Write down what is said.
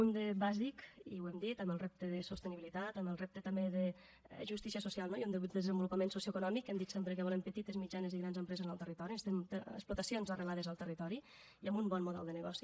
un de bàsic i ho hem dit amb el repte de sostenibilitat amb el repte també de justícia social no i un desenvolupament socioeconòmic que hem dit sempre que volem petites mitjanes i grans empreses en el territori explotacions arrelades al territori i amb un bon model de negoci